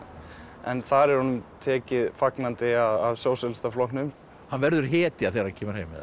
en þar er honum tekið fagnandi af Sósíalistaflokknum hann verður hetja þegar hann kemur heim eða